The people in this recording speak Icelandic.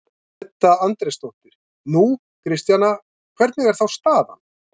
Edda Andrésdóttir: Nú, Kristjana, hvernig er þá staðan?